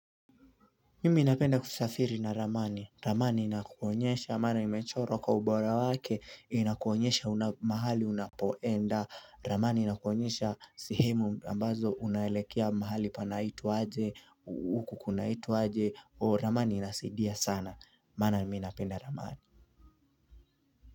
Mimi napenda kusafiri na ramani. Ramani inakuonyesha maana imechorwa kwa ubora wake. Inakuonyesha mahali unapoenda. Ramani inakuonyesha sehemu ambazo unaelekea mahali panaitwa aje. hUku kunaitwa aje. Ramani inasaidia sana. Maana mimi napenda ramani.